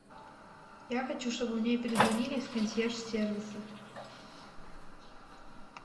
я хочу чтобы мне перезвонили из консьерж сервиса